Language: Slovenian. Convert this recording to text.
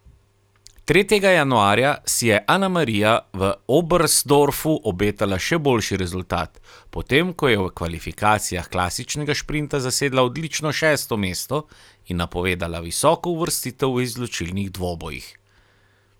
Tretjega januarja si je Anamarija v Oberstdorfu obetala še boljši rezultat, potem ko je v kvalifikacijah klasičnega šprinta zasedla odlično šesto mesto in napovedala visoko uvrstitev v izločilnih dvobojih.